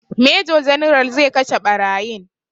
Major general zai kashe ɓarayin